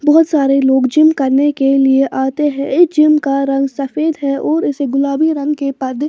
बहुत सारे लोग जिम करने के लिए आते हैं इस जिम का रंग सफेद है और इसे गुलाबी रंग के पर्दे--